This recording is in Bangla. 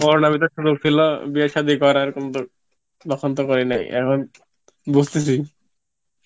Corona র ভিতর তো ছিল বিয়ে সাদি করার কিন্তু তখন তো করি নাই এখন বুজতেছি